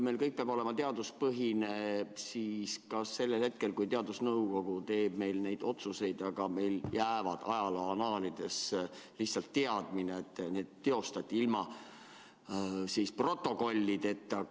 Meil peab kõik olema teaduspõhine, aga kui teadusnõukoda teeb neid otsuseid, jääb meil ajalooannaalidesse lihtsalt teadmine, et need tehti ilma protokollideta.